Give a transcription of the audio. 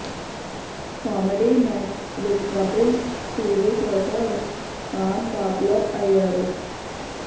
comedy nights with Kapil TV షోతో Khan popular అయ్యారు